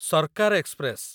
Sarkar express